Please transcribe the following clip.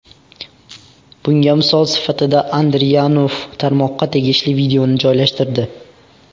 Bunga misol sifatida Andriyanov tarmoqqa tegishli videoni joylashtirdi.